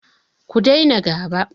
Ku daina gaba!